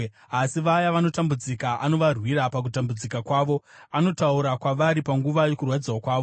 Asi vaya vanotambudzika anovarwira pakutambudzika kwavo; anotaura kwavari panguva yokurwadziwa kwavo.